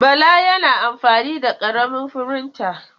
Bala yana amfani da ƙaramin firinta.